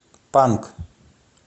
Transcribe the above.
панк